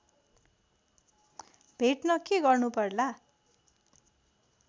भेट्न के गर्नुपर्ला